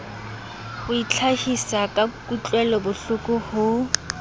ho itlhahisa ka kutlwelobohloko ho